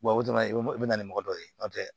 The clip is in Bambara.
o dɔrɔn i bɛ na ni mɔgɔ dɔ ye n'o tɛ